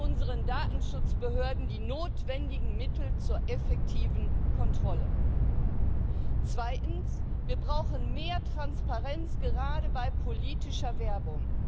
Geben wir unseren Datenschutzbehörden die notwendigen Mittel zur effektiven Kontrolle! Zweitens Wir brauchen mehr Transparenz gerade bei politischer Werbung.